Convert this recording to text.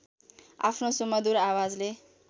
आफ्नो सुमधुर आवजले